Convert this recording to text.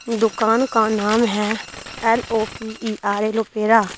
दुकान का नाम है L O P E R A Lopera --